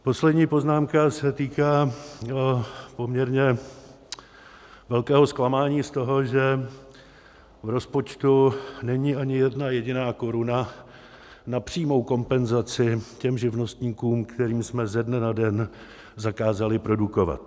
Poslední poznámka se týká poměrně velkého zklamání z toho, že v rozpočtu není ani jedna jediná koruna na přímou kompenzaci těm živnostníkům, kterým jsme ze dne na den zakázali produkovat.